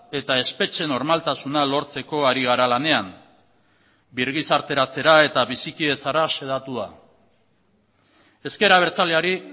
eta espetxe normaltasuna lortzeko ari gara lanean birgizarteratzera eta bizikidetzara xedatua ezker abertzaleari